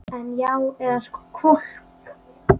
En. já, eða sko hvolp.